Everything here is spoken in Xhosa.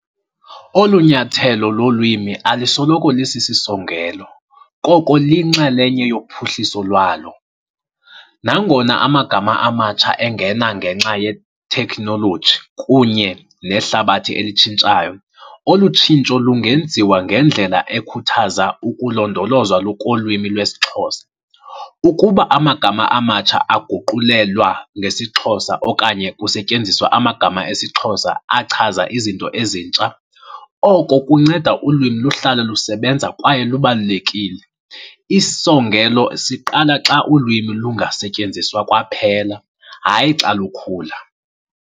Olu nyathelo lolwimi alisoloko lisisisongelo, koko liyinxalenye yophuhliso lwalo. Nangona amagama amatsha engena ngenxa yethekhnoloji kunye nehlabathi elitshintshayo, olu tshintsho lungenziwa ngendlela ekhuthaza ukulondolozwa kolwimi lwesiXhosa. Ukuba amagama amatsha aguqulelwa ngesiXhosa okanye kusetyenziswa amagama esiXhosa achaza izinto ezintsha, oko kunceda ulwimi luhlale lusebenza kwaye lubalulekile. Isisongelo siqala xa ulwimi lungasetyenziswa kwaphela, hayi xa lukhula.